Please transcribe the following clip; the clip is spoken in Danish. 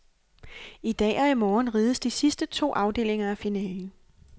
I dag og i morgen rides de to sidste afdelinger af finalen.